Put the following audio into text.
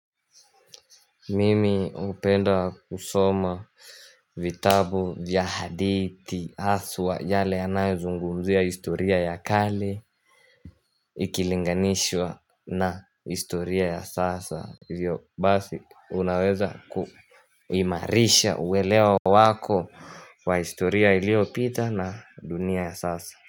Mimi hupenda kusoma vitabu vya hadithi haswa yale yanayozungumzia historia ya kale Ikilinganishwa na historia ya sasa Hivyo basi unaweza kuimarisha uwelewa wako wa historia ilio pita na dunia ya sasa.